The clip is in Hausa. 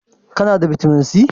Kana da bitamin C?